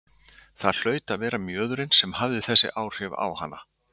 Það hlaut að vera mjöðurinn sem hafði þessi áhrif á hana.